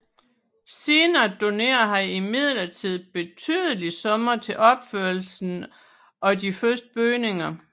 Senere donerede han imidlertid betydelige summer til opførelsen af de første bygninger